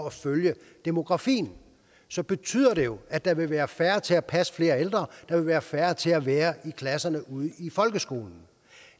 at følge demografien så betyder det jo at der vil være færre til at passe flere ældre der vil være færre til at være i klasserne ude i folkeskolen